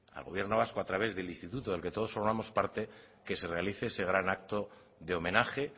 al gobierno vasco a través del instituto del que todos formamos parte que se realice ese gran acto de homenaje